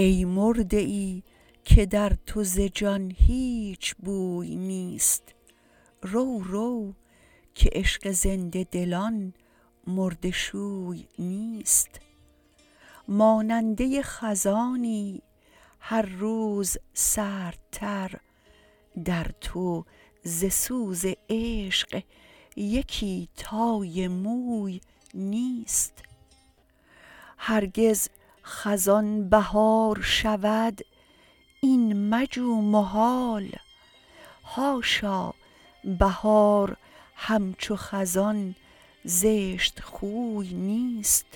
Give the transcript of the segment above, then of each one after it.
ای مرده ای که در تو ز جان هیچ بوی نیست رو رو که عشق زنده دلان مرده شوی نیست ماننده خزانی هر روز سردتر در تو ز سوز عشق یکی تای موی نیست هرگز خزان بهار شود این مجو محال حاشا بهار همچو خزان زشتخوی نیست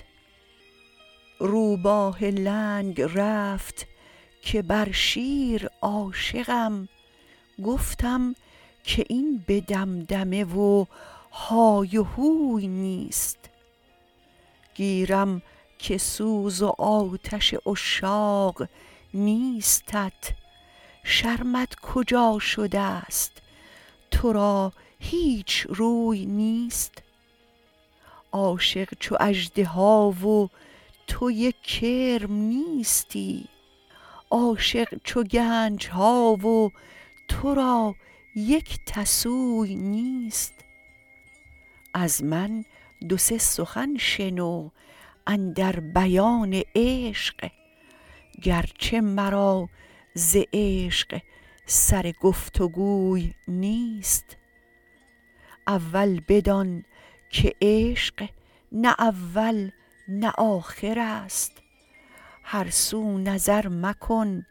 روباه لنگ رفت که بر شیر عاشقم گفتم که این به دمدمه و های هوی نیست گیرم که سوز و آتش عشاق نیستت شرمت کجا شدست تو را هیچ روی نیست عاشق چو اژدها و تو یک کرم نیستی عاشق چو گنج ها و تو را یک تسوی نیست از من دو سه سخن شنو اندر بیان عشق گرچه مرا ز عشق سر گفت و گوی نیست اول بدان که عشق نه اول نه آخرست هر سو نظر مکن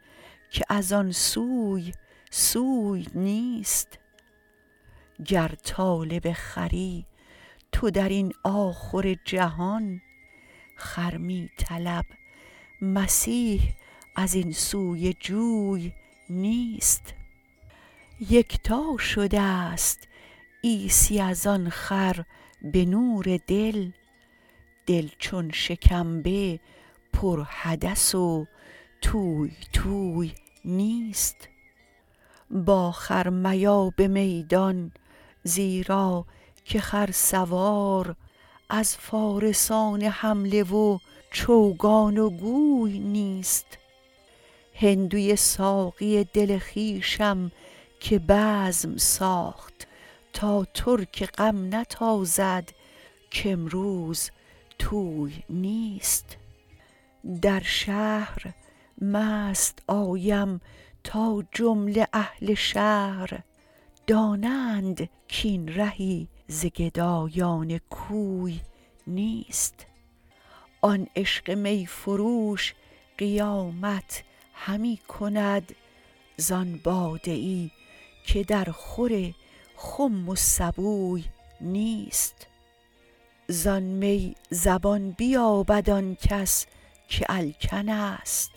که از آن سوی سوی نیست گر طالب خری تو در این آخرجهان خر می طلب مسیح از این سوی جوی نیست یکتا شدست عیسی از آن خر به نور دل دل چون شکمبه پرحدث و توی توی نیست با خر میا به میدان زیرا که خرسوار از فارسان حمله و چوگان و گوی نیست هندوی ساقی دل خویشم که بزم ساخت تا ترک غم نتازد کامروز طوی نیست در شهر مست آیم تا جمله اهل شهر دانند کاین زهی ز گدایان کوی نیست آن عشق می فروش قیامت همی کند زان باده ای که درخور خم و سبوی نیست زان می زبان بیابد آن کس که الکنست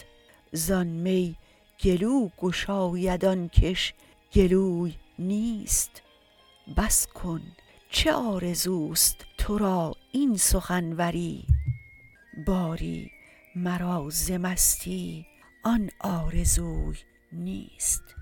زان می گلو گشاید آن کش گلوی نیست بس کن چه آرزوست تو را این سخنوری باری مرا ز مستی آن آرزوی نیست